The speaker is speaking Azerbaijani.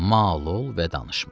Mal ol və danışma.